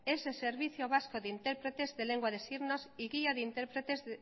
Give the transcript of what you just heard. es el servicio vasco de intérpretes de lengua de signos y guía de intérpretes